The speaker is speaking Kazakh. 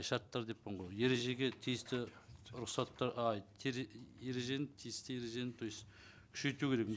шарттар деппін ғой ережеге тиісті рұқсатты ай ережені тиісті ережені то есть күшейту керек